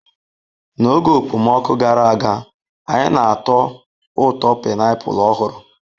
N'oge okpomọkụ gara aga, anyị na-atọ ụtọ painiapulu ọhụrụ.